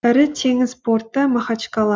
ірі теңіз порты махачкала